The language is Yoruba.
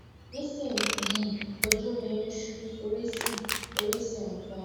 nísinyìí ojú mi ń ṣú orí sì orí sì ń fọ́ mi